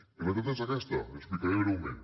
i la realitat és aquesta l’hi explicaré breument